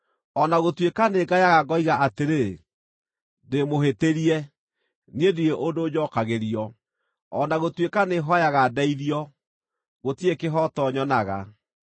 “O na gũtuĩka nĩngayaga ngoiga atĩrĩ, ‘Ndĩĩmũhĩtĩrie!’ Niĩ ndirĩ ũndũ njookagĩrio; o na gũtuĩka nĩhooyaga ndeithio, gũtirĩ kĩhooto nyonaga.